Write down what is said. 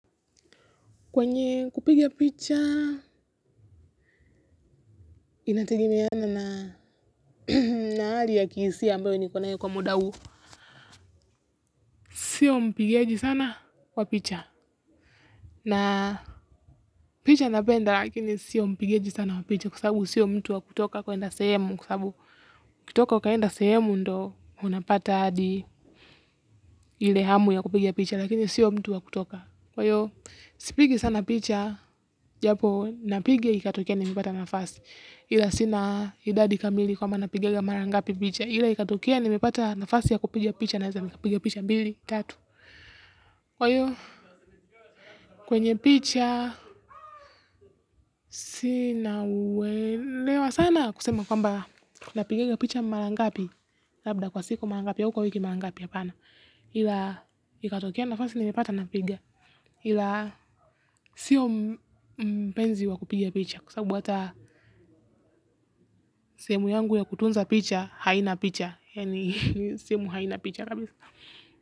Kwenye kupiga picha, inategemeana na na hali ya kihisia ambayo nikonayo kwa muda huu. Sio mpigaji sana wa picha. Na picha napenda, lakini sio mpigaji sana wa picha kwasababu sio mtu wa kutoka kwa enda sehemu. Kwasababu kutoka uka enda sehemu ndo, unapata hadi ilehamu ya kupigia picha, lakini sio mtu wa kutoka. Kwa hiyo, sipigi sana picha, japo napigia ikatokea mipata nafasi. Ila sina idadi kamili kwa mbanapigiga marangapi picha ila ikatukia nimepata nafasi ya kupigia picha na za mikapiga picha bili, tatu kwenye picha sina uelewa sana kusema kwamba napiganga picha marangapi labda kwa siku marangapi ya uko wiki marangapi apana ila ikatukea nafasi nimepata napiga ila sio mpenzi wa kupigia picha kwasababu ata sehemu yangu ya kutunza picha haina picha ni simu hai na picha kabiza.